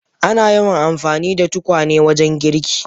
Ana yawan amfani da tukwane wajen girki.